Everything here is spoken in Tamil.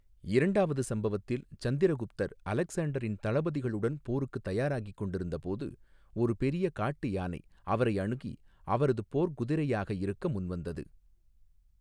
இரண்டாவது சம்பவத்தில், சந்திரகுப்தர் அலெக்சாண்டரின் தளபதிகளுடன் போருக்குத் தயாராகிக் கொண்டிருந்தபோது, ஒரு பெரிய காட்டு யானை அவரை அணுகி, அவரது போர்க்குதிரையாக இருக்க முன்வந்தது.